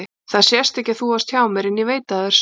Það sést ekki að þú varst hjá mér en ég veit það er satt.